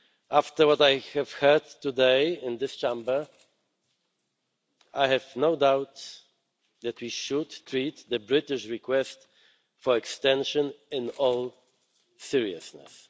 After what I have heard today in this Chamber, I have no doubt that we should treat the British request for an extension in all seriousness.